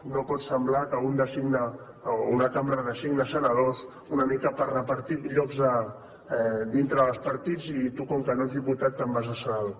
no pot semblar que una cambra designa senadors una mica per repartir llocs dintre dels partits i tu com que no ets diputat te’n vas de senador